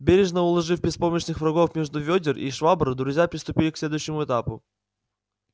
бережно уложив беспомощных врагов между вёдер и швабр друзья приступили к следующему этапу